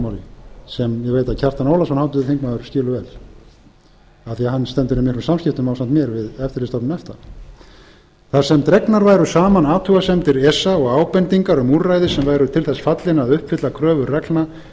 ég veit að kjartan ólafsson háttvirtur þingmaður skilur vel af því hann stendur í miklum samskiptum ásamt mér við eftirlitsstofnun efta þar sem dregnar væru saman athugasemdir esa og ábendingar um úrræði sem væru til þess fallin að uppfylla kröfur reglna